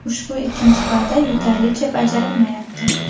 Ushbu ikkinchi va’da yetarlicha bajarilmayapti.